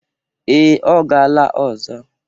Ee, ọ gala ọzọ.